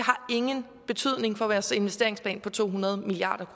ingen betydning har for deres investeringsplan på to hundrede milliard